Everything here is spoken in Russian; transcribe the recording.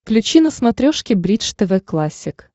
включи на смотрешке бридж тв классик